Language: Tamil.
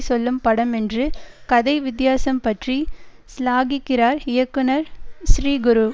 சொல்லும் படம் என்று கதை வித்தியாசம் பற்றி சிலாகிக்கிறார் இயக்குனர் ஸ்ரீகுரு